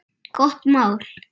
Gott mál.